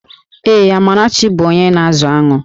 Ee, Amarachi bụ onye na-azụ aṅụ